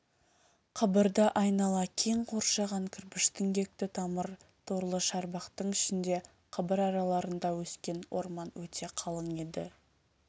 қабырды айнала кең қоршаған кірпіш діңгекті тамыр торлы шарбақтың ішінде қабыр араларында өскен орман өте қалың еді